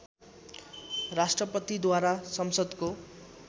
राष्ट्रपतिद्वारा संसद्को